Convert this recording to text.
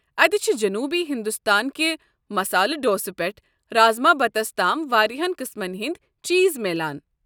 اتہِ چھِ جنوٗبی ہندوستان کہِ مسالہ ڈوسہ پٮ۪ٹھٕ رازماہ بتس تام واراہن قٕسمن ہٕنٛدِ چیٖز میلان۔